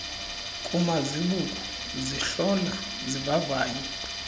kumazibuko zihlola zivavanye